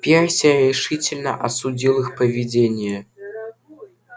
перси решительно осудил их поведение